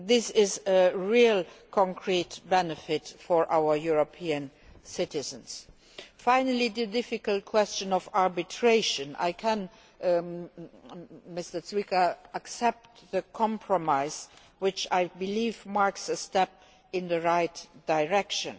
This is a real concrete benefit for our European citizens. Finally, on the difficult question of arbitration, Mr Zwiefka, I can accept the compromise, which I believe marks a step in the right direction.